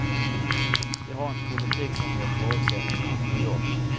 Vi har en politik som ger förutsättningar för jobb.